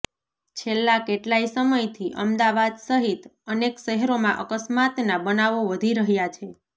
છેલ્લાં કેટલાંય સમયથી અમદાવાદ સહિત અનેક શહેરોમાં અકસ્માતના બનાવો વધી રહ્યાં છે